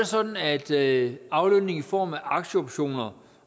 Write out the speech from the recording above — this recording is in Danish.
sådan at aflønning i form af aktieoptioner